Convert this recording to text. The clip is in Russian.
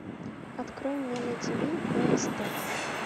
открой мне на тв бст